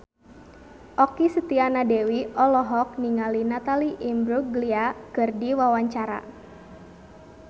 Okky Setiana Dewi olohok ningali Natalie Imbruglia keur diwawancara